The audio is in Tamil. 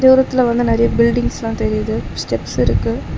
தூரத்துல வந்து நெறையா பில்டிங்ஸ்லா தெரியுது ஸ்டெப்ஸ் இருக்கு.